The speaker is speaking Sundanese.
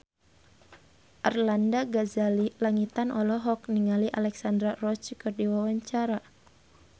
Arlanda Ghazali Langitan olohok ningali Alexandra Roach keur diwawancara